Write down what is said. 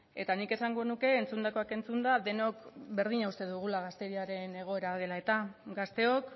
eta nik esango nuke entzundakoak entzunda denok berdina uste dugula gazteriaren egoera dela eta gazteok